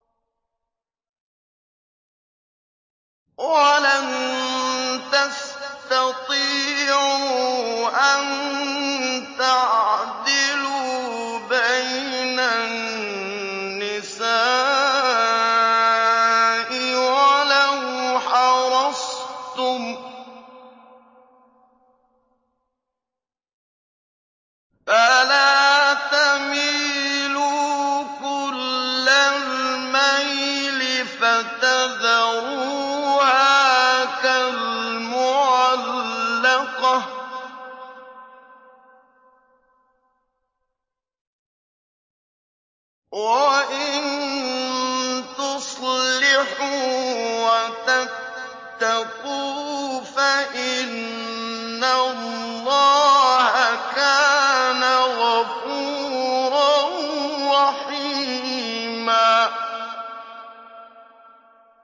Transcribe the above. وَلَن تَسْتَطِيعُوا أَن تَعْدِلُوا بَيْنَ النِّسَاءِ وَلَوْ حَرَصْتُمْ ۖ فَلَا تَمِيلُوا كُلَّ الْمَيْلِ فَتَذَرُوهَا كَالْمُعَلَّقَةِ ۚ وَإِن تُصْلِحُوا وَتَتَّقُوا فَإِنَّ اللَّهَ كَانَ غَفُورًا رَّحِيمًا